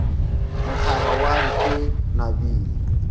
mohlaba wa re ke nabile